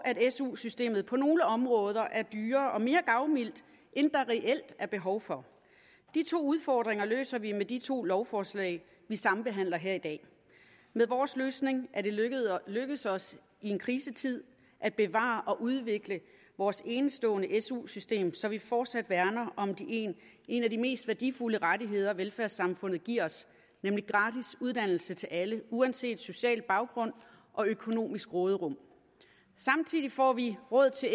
su systemet på nogle områder er dyrere og mere gavmildt end der reelt er behov for de to udfordringer løser vi med de to lovforslag vi sambehandler her i dag med vores løsning er det lykkedes os i en krisetid at bevare og udvikle vores enestående su system så vi forsat værner om en af de mest værdifulde rettigheder velfærdssamfundet giver os nemlig gratis uddannelse til alle uanset social baggrund og økonomisk råderum samtidig får vi råd til